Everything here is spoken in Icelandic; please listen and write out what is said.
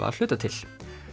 að hluta til